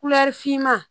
finma